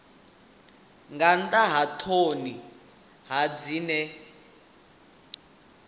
nga nnḓa ha ṱhoni dzine